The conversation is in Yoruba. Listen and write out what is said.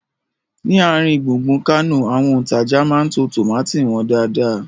Ni àrin gbùngbùn Kánò, àwọn òntajà máa ń to tómátì wọn dáadáa